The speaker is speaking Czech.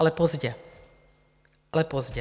Ale pozdě, ale pozdě!